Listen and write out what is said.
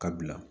Ka bila